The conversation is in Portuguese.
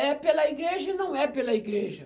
É pela igreja e não é pela igreja.